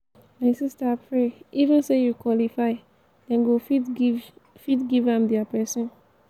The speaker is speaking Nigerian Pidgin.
my sister pray even say you qualify den go fit give fit give am their person.